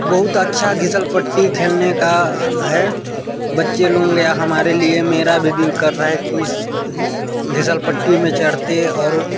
बहुत अच्छा घिसल पट्टी खेलने का है बच्चे लोग या हमारे लिए मेरा भी दिल कर रहा है की घिसल पट्टी में चढ़ते और--